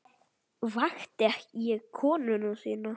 Vakti ég konu þína líka?